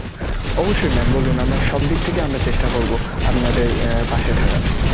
অবশ্যই mam বলুন, আমরা সব দিক থেকে আমরা চেষ্টা করবো আপনাদের আহ পাশে থাকার.